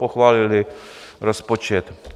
Pochválily rozpočet.